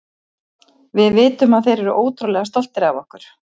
Við vitum að þeir eru ótrúlega stoltir af okkur.